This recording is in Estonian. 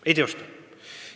Ei teosta!